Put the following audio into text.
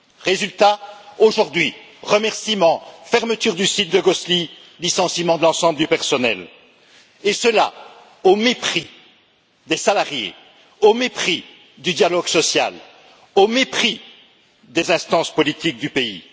Résultat aujourd'hui, remerciement fermeture du site de Gosselies, licenciement de l'ensemble du personnel, et cela au mépris des salariés, au mépris du dialogue social, au mépris des instances politiques du pays.